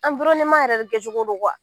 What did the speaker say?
yɛrɛ de kɛcogo don